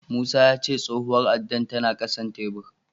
Musa ya ce tsohuwar addar tana ƙasan tebur.